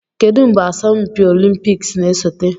Kedu mgbe asọmpi olimpiks na-esote?